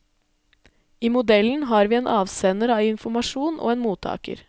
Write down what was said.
I modellen har vi en avsender av informasjon og en mottaker.